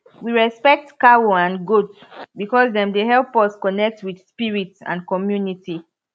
we respect cow and goat because dem dey help us connect with spirit and community